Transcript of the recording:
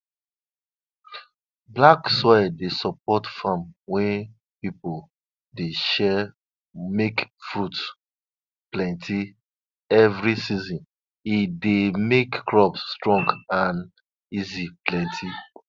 farmers be talk say if frogs dey croak so loud for daylight e mean say rain go come in two days time.